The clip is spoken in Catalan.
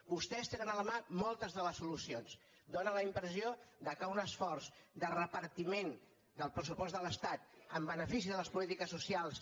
vostès tenen a la mà moltes de les solucions dóna la impressió que un esforç de repartiment del pressupost de l’estat en benefici de les polítiques socials